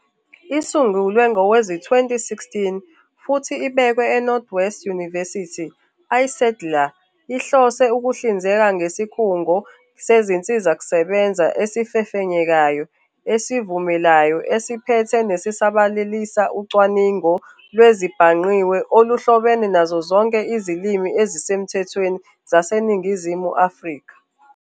Isungulwe ngowezi-2016, futhi ibekwe eNorth-West University, iSADILaR ihlose ukuhlinzeka ngesikhungo sezinsizakusebenza esifefenyekayo, esivumelayo, esiphethe nesisabalalisa ucwaningo lwezezibhangqiwe oluhlobene nazo zonke izilimi ezisemthethweni zaseNingizimu Afrika.